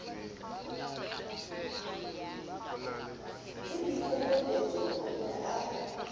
le boikokobetso o ne a